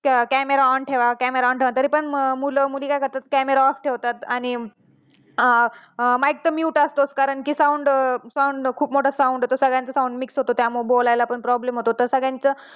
camera on ठेवा, camera on ठेवा, तरी पण मुलं काय करतात camera off ठेवतात आणि mic पण mute असतो कारण कि sound येतो सगळ्यांनाच sound mix होतो त्यामुळे बोलायला पण problem होतो